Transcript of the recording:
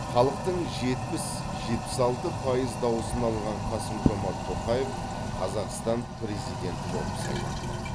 халықтың жетпіс жетпіс алты пайыз дауысын алған қасым жомарт тоқаев қазақстан президенті болып сайланды